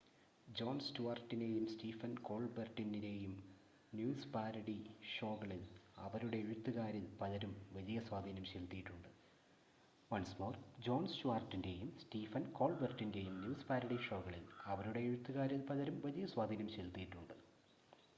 John സ്റ്റുവാർട്ടിൻ്റെയും Stephen കോൾബെർട്ടിൻ്റെയും news parody ഷോകളിൽ അവരുടെ എഴുത്തുകാരിൽ പലരും വലിയ സ്വാധീനം ചെലുത്തിയിട്ടുണ്ട്